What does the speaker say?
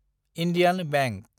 Indian bank